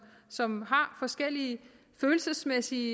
som har forskellige følelsesmæssige